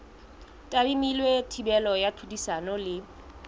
tadimilwe thibelo ya tlhodisano le